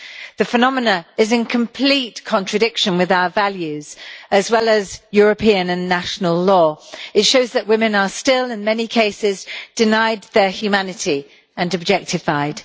The phenomenon is in complete contradiction with our values, as well as European and national law. It shows that women are still, in many cases, denied their humanity and objectified.